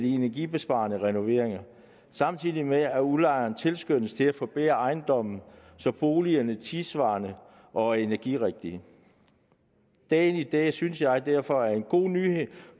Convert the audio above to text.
energibesparende renoveringer samtidig med at udlejerne tilskyndes til at forbedre ejendommen så boligerne er tidssvarende og energirigtige dagen i dag synes jeg derfor bringer en god nyhed